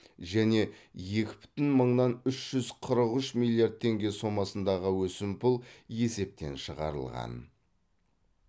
және екі бүтін мыңнан үш жүз қырық үш миллиард теңге сомасындағы өсімпұл есептен шығарылған